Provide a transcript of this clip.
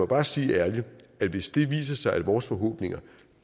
bare sige ærligt at hvis det viser sig at vores forhåbninger